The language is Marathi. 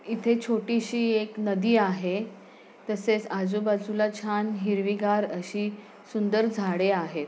इथे छोटी शी एक नदी आहे. तसेच आजूबाजूला छान हिरवीगार अशी सुंदर झाडे आहे.